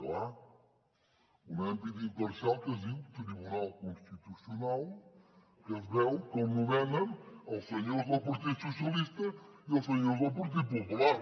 clar un àrbitre imparcial que es diu tribunal constitucional que es veu que el nomenen els senyors del partit dels socialistes i els senyors del partit popular